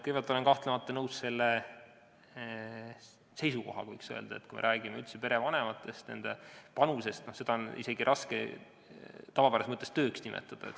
Kõigepealt, olen kahtlemata nõus selle seisukohaga, et kui me räägime üldse perevanematest, nende panusest, siis seda on isegi raske tavapärases mõttes tööks nimetada.